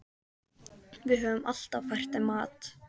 Við höfum alltaf fært þeim mat.